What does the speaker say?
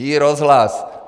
iRozhlas!